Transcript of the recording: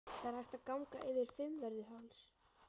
Það er hægt að ganga yfir Fimmvörðuháls.